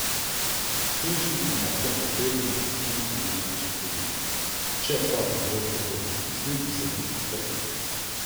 Svinčnik na mokrem papirju ne pušča niti najmanjše sledi, če pa bi bolj trdo pritisnil, bi se listi strgali.